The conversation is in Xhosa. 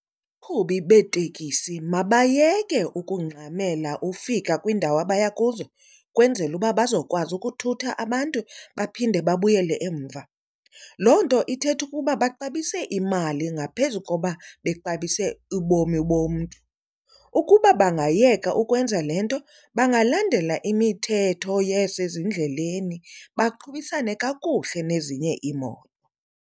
Abaqhubi beetekisi mabayeke ukungxamela ufika kwiindawo abaya kuzo ukwenzela uba bazokwazi ukuthutha abantu baphinde babuyele emva. Loo nto ithetha ukuba baxabise imali ngaphezu koba bexabise ubomi bomntu. Ukuba bangayeka ukwenza le nto bangalandela imithetho yasezindleleni, baqhubisane kakuhle nezinye iimoto.